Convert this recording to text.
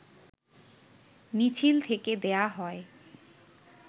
মিছিল থেকে দেয়া হয়